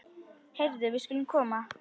Heyrðu, við skulum koma.